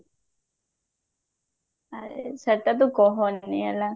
ଆଏ ସେଟା ତୁ କହନି